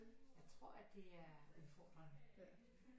Jeg tror at det er udfordrende